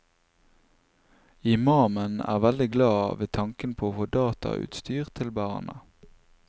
Imamen er veldig glad ved tanken på å få datautstyr til barna.